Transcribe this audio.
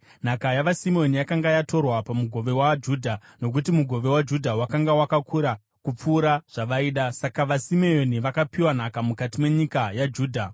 Nhaka yavaSimeoni yakanga yatorwa pamugove waJudha, nokuti mugove waJudha wakanga wakakura kupfuura zvavaida. Saka vaSimeoni vakapiwa nhaka mukati menyika yaJudha.